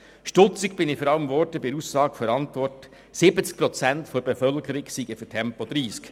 Stutzig wurde ich vor allem bei der Aussage in der Antwort, 70 Prozent der Bevölkerung würden Tempo 30 befürworten.